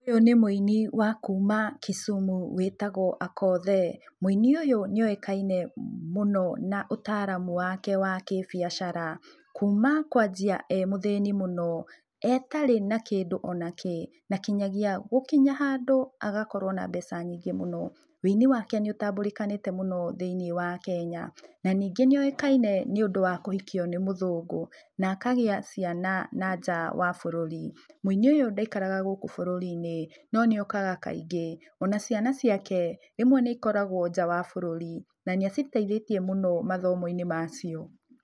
Ũyũ nĩ mũini wa kuma Kisumu wĩtagũo Akothee. Mũini ũyũ nĩoĩkaine mũno na ũtaramu wake wa kĩ-biacara, kuma kũanjia e mũthĩni mũno etarĩ na kĩndũ onakĩ na kinyagia gũkinya handũ agakorũo na mbeca nyingĩ mũno. Ũini wake nĩũtambũrĩkanĩte mũno thĩiniĩ wa Kenya. Na ningĩ nĩoĩkaine nĩũndũ wa kũhikio nĩ mũthũngũ na akagĩa ciana nanja wa bũrũri. Mũini ũyũ ndaikaraga gũkũ bũrũri-inĩ, no nĩokaga kaingĩ. Ona ciana ciake, rĩmwe nĩikoragũo nja wa bũrũri, na nĩaciteithĩtie mũno mathomo-inĩ macio.